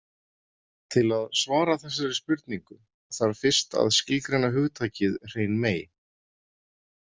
Til að svara þessari spurningu þarf fyrst að skilgreina hugtakið hrein mey.